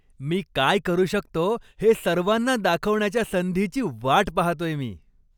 मी काय करू शकतो हे सर्वांना दाखवण्याच्या संधीची वाट पाहतोय मी.